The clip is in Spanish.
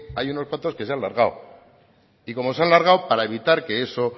hay unos cuantos que se han largado y como se han largado para evitar que eso